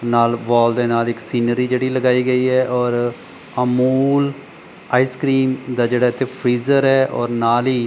ਨਾਲ ਵਾਲ ਦੇ ਨਾਲ ਇੱਕ ਸੀਨਰੀ ਜਿਹੜੀ ਲਗਾਈ ਗਈ ਹੈ ਔਰ ਅਮੂਲ ਆਈਸਕਰੀਮ ਦਾ ਜਿਹੜਾ ਇੱਥੇ ਫਰੀਜ਼ਰ ਹੈ ਔਰ ਨਾਲ ਹੀ --